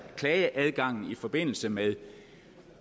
klageadgangen i forbindelse med